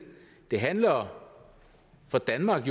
det handler for danmark